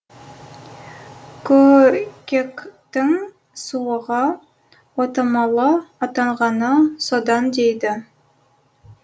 көкектің суығы отамалы атанғаны содан дейді